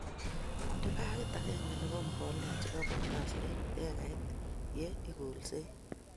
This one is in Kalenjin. Inde bagit akenge nebo mbolea chebo Potash eng ekait ye ikolsei